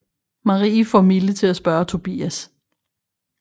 Marie får Mille til at spørge Tobias